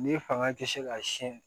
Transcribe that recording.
Ni fanga tɛ se ka siyɛn